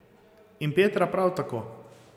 In Petra prav tako.